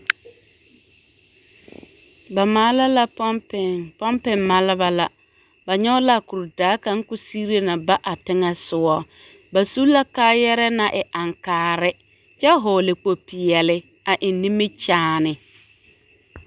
Ba maala la pompiŋ, pompiŋ maaleba la, ba nyɔge la a kuridaa kaŋa k'o sigire na ba a teŋɛ sogɔ ba su la kaayarɛɛ naŋ e aŋkaare kyɛ hɔɔle kpo-peɛle a eŋ nimikyaane.